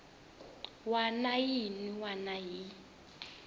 wana na yin wana yi